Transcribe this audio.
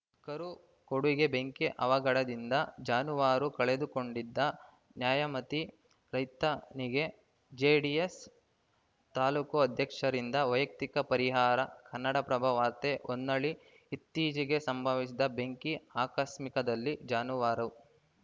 ಕರು ಕೊಡುಗೆ ಬೆಂಕಿ ಅವಘಡದಿಂದ ಜಾನುವಾರು ಕಳೆದುಕೊಂಡಿದ್ದ ನ್ಯಾಮತಿ ರೈತನಿಗೆ ಜೆಡಿಎಸ್‌ ತಾಲೂಕು ಅಧ್ಯಕ್ಷರಿಂದ ವೈಯಕ್ತಿಕ ಪರಿಹಾರ ಕನ್ನಡಪ್ರಭ ವಾರ್ತೆ ಹೊನ್ನಾಳಿ ಇತ್ತೀಚೆಗೆ ಸಂಭವಿಸಿದ ಬೆಂಕಿ ಆಕಸ್ಮಿಕದಲ್ಲಿ ಜಾನುವಾರು